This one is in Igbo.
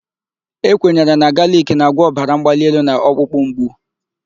E kwenyere na galic na-agwọ ọbara mgbali elu na ọkpụkpụ mgbu.